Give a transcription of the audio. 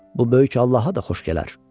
Bu böyük Allaha da xoş gələr.